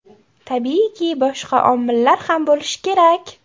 Tabiiyki, boshqa omillar ham bo‘lishi kerak.